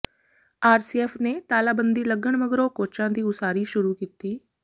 RCF ਨੇ ਤਾਲਾਬੰਦੀ ਲੱਗਣ ਮਗਰੋਂ ਕੋਚਾਂ ਦੀ ਉਸਾਰੀ ਸ਼ੁਰੂ ਕੀਤੀ